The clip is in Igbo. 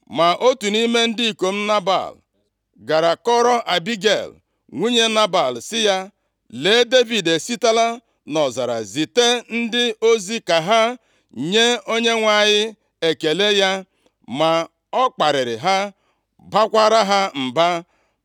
Ma otu nʼime ndị ikom Nebal gara kọọrọ Abigel, nwunye Nebal sị ya, “Lee, Devid esitela nʼọzara zite ndị ozi ka ha nye onyenwe anyị ekele ya, ma ọ kparịrị ha, baakwara ha mba.